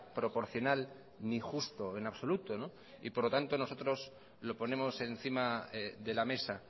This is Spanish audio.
proporcional ni justo en absoluto y por lo tanto nosotros lo ponemos encima de la mesa